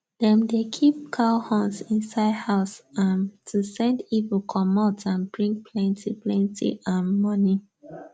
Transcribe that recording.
dem dey keep cow horns inside house um to send evil comot and bring plenty plenty um money